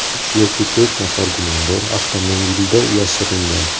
Uch yoki to‘rt nafar gumondor avtomobilda yashiringan.